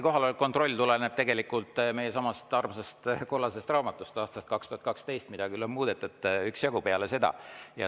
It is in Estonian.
Kohaloleku kontroll tuleneb meie armsast kollasest raamatust, aastal 2012 ja mida on peale seda küll üksjagu muudetud.